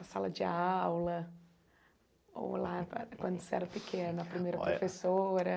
A sala de aula, ou lá quando você era pequeno, olha, a primeira professora.